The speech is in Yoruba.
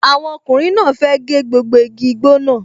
Àwọn ọkùnrin náà fẹ́ gé gbogbo igi igbó náà